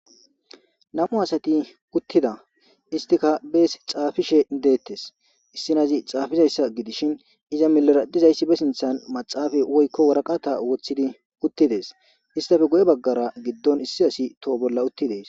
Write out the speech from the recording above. Namu asati uttida istika bees xaafishe deettes issinazi xaafizayssa gidishin iza milaradizayssibe sinthan maxaafa woykko waraqata woththidi uttides istafe go'e baggara giddon issi asi toho bolla uttidees.